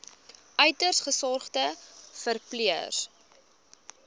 uiters gesogde verpleër